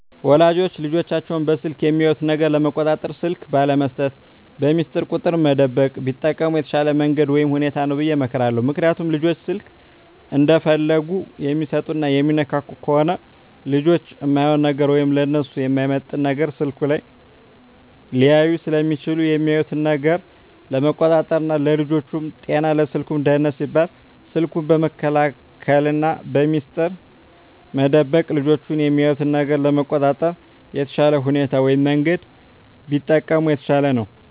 ወላጆች ልጆቻቸውን በስልክ የሚያዩት ነገር ለመቆጣጠር ስልክ ባለመስጠት፣ በሚስጥር ቁጥር መደበቅ ቢጠቀሙ የተሻለ መንገድ ወይም ሁኔታ ነው ብየ እመክራለሁ። ምክንያቱም ልጆች ስልክ እንደፈለጉ የሚሰጡና የሚነካኩ ከሆነ ልጆች እማይሆን ነገር ወይም ለነሱ የማይመጥን ነገር ስልኩ ላይ ሊያዩ ስለሚችሉ የሚያዩትን ነገር ለመቆጣጠር ና ለልጆቹም ጤና ለስልኩም ደህንነት ሲባል ስልኩን በመከልከልና በሚስጥር መደበቅ ልጆች የሚያዩትን ነገር ለመቆጣጠር የተሻለ ሁኔታ ወይም መንገድ ቢጠቀሙ የተሻለ ነው።